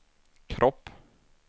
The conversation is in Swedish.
kropp